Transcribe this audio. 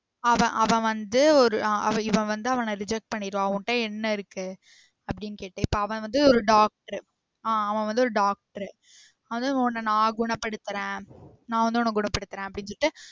அவன் அவன் வந்து ஒரு அவ இவன் வந்து அவன reject பண்ணிருவா உன்கிட்ட என்ன இருக்கு அப்டின்னு கேட்டு இப்போ அவன் வந்து ஒரு doctor ஆஹ் அவ வந்து ஒரு doctor அதும் உன்ன நா குண படுத்துறேன் நா வந்து உன்ன குணப்படுத்துறேன் அப்டின்னு சொல்லிட்டு